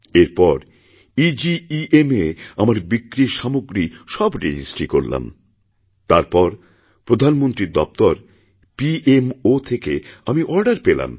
এরপর এগেম এ আমার বিক্রির সামগ্রী সব রেজিস্ট্রী করলাম তারপরপ্রধানমন্ত্রীর দফতর পিএমও থেকে আমি অর্ডার পেলাম